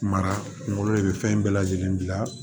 Mara kunkolo de bɛ fɛn bɛɛ lajɛlen bila